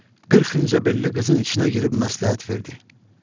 Qırx incə belli qızın içinə girib məsləhət verdi.